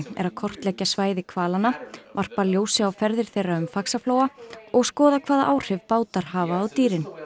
er að kortleggja svæði hvalanna varpa ljósi á ferðir þeirra um Faxaflóa og skoða hvaða áhrif bátar hafa á dýrin